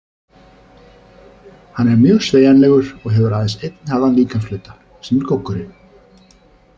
Hann er mjög sveigjanlegur og hefur aðeins einn harðan líkamshluta, sem er goggurinn.